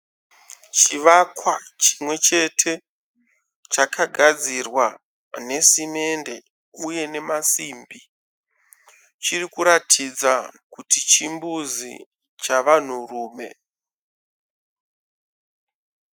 Chivakwa chimwe chete chakagadzirwa nesimende uye nemasimbi. Chiri kuratidza kuti chimbuzi chavanhurume.